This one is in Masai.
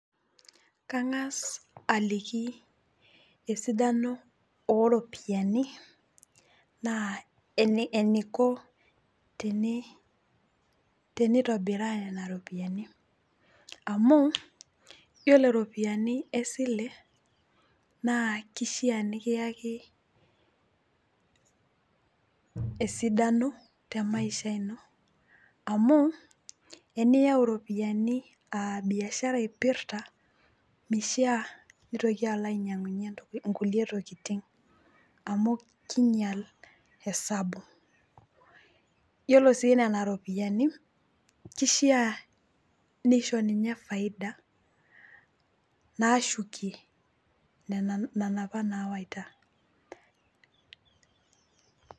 Kang'as aliki esidano oropiyiani naa eniko teni , tenitobiraa nena ropiyiani amu yiolo ropiyiani esile naa kishaa nikiyaki esidano temaisha ino amu teniyau ropiyiani aabiashara ipirta mishaa nitoki alo ainyiangunyie nkulie tokitin amu kinyial esabu. Yiolo sii nena ropiyiani kishaa nisho ninye faida nashukie nena, nena apa nawaita.